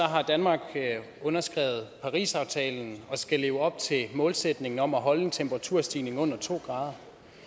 har danmark underskrevet parisaftalen og skal leve op til målsætningen om at holde temperaturstigningen under to grader